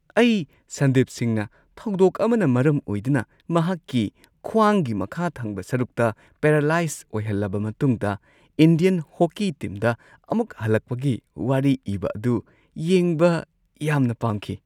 ꯑꯩ ꯁꯟꯗꯤꯞ ꯁꯤꯡꯍꯅ ꯊꯧꯗꯣꯛ ꯑꯃꯅ ꯃꯔꯝ ꯑꯣꯏꯗꯨꯅ ꯃꯍꯥꯛꯀꯤ ꯈ꯭ꯋꯥꯡꯒꯤ ꯃꯈꯥ ꯊꯪꯕ ꯁꯔꯨꯛꯇ ꯄꯦꯔꯂꯥꯏꯖ ꯑꯣꯏꯍꯜꯂꯕ ꯃꯇꯨꯡꯗ ꯏꯟꯗꯤꯌꯟ ꯍꯣꯀꯤ ꯇꯤꯝꯗ ꯑꯃꯨꯛ ꯍꯜꯂꯛꯄꯒꯤ ꯋꯥꯔꯤ ꯏꯕ ꯑꯗꯨ ꯌꯦꯡꯕ ꯌꯥꯝꯅ ꯄꯥꯝꯈꯤ ꯫